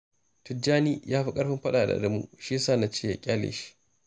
Tijjani ya fi ƙarfin faɗa da Adamu, shi ya sa na ce ya ƙyale shi